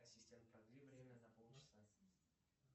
ассистент продли время на полчаса